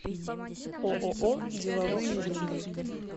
ооо деловые линии